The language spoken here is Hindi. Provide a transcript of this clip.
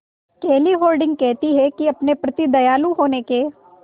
केली हॉर्डिंग कहती हैं कि अपने प्रति दयालु होने के